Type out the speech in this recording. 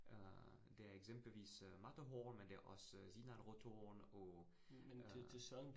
Øh det er eksempelvis øh Matterhorn, men det også Zinalrothorn og øh